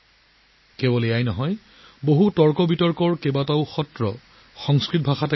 কেৱল ইমানেই নহয় ইয়াত বহুতো বিতৰ্কৰ অধিবেশন সংস্কৃতত কৰিবলৈ লৈছে